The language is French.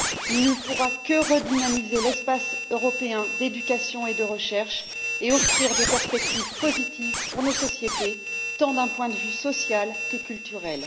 Il ne pourra que redynamiser l'espace européen d'éducation et de recherche, et offrir des perspectives positives pour nos sociétés, tant d'un point de vue social que culturel.